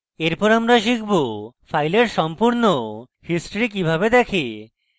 এরপর আমরা শিখব file সম্পূর্ণ history কিভাবে দেখে